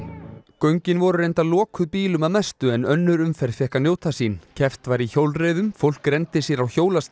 göngin voru reyndar lokuð bílum að mestu en önnur umferð fékk að njóta sín keppt var í hjólreiðum fólk renndi sér á